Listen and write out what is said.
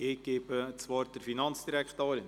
Ich erteile das Wort der Finanzdirektorin.